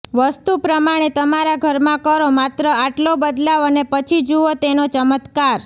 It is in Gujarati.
વાસ્તુ પ્રમાણે તમારા ઘરમાં કરો માત્ર આટલો બદલાવ અને પછી જુઓ તેનો ચમત્કાર